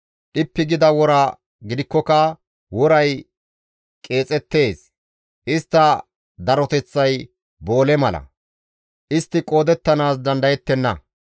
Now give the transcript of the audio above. Dhippi gida wora gidikkoka woray qeexettees; istta daroteththay boole mala; istti qoodettanaas dandayettenna.